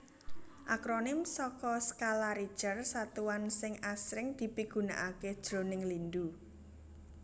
Akronim saka Skala Richter satuan sing asring dipigunakaké jroning lindhu